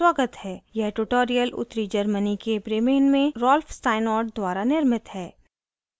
यह ट्यूटोरियल उत्तरी germany के bremen में rolf steinort द्वारा निर्मित है